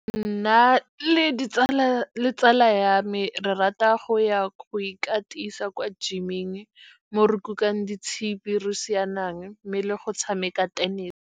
Nna le tsala ya me re rata go ya go ikatisa kwa gym-eng, mo re kukang ditshipi, re sianang mme le go tshameka tenese.